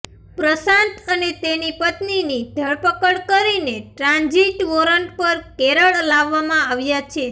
પ્રશાંત અને તેની પત્નીની ધરપકડ કરીને ટ્રાન્જિટ વોરંટ પર કેરળ લાવવામાં આવ્યાં છે